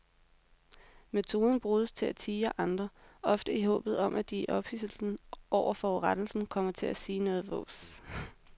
Metoden bruges til at tirre andre, ofte i håbet om at de i ophidselsen over forurettelsen kommer til at sige noget vås.